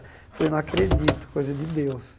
Eu falei, não acredito, coisa de Deus.